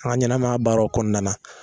An ga ɲɛnɛmaya baaraw kɔnɔna na